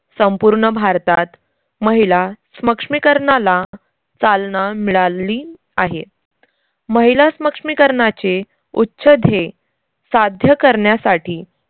संपूर्ण भारतात महिला स्मक्ष्मीकरनाला चालना मिळाल्ली आहे. महिला स्मक्ष्मीकरनाचे उच्च ध्येय साध्य करण्यासाठी